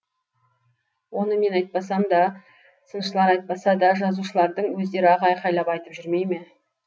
оны мен айтпасам да сыншылар айтпаса да жазушылардың өздері ақ айқайлап айтып жүрмей ме